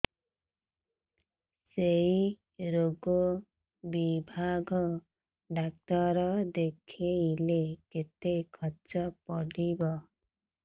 ସେଇ ରୋଗ ବିଭାଗ ଡ଼ାକ୍ତର ଦେଖେଇଲେ କେତେ ଖର୍ଚ୍ଚ ପଡିବ